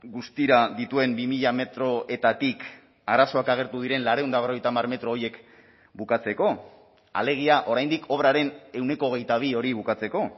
guztira dituen bi mila metroetatik arazoak agertu diren laurehun eta berrogeita hamar metro horiek bukatzeko alegia oraindik obraren ehuneko hogeita bi hori bukatzeko